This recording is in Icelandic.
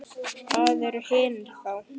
Hvað eru hinir þá?